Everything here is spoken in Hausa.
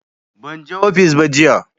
Ban je ofis ba jiya